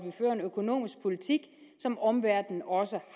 økonomisk politik som omverdenen også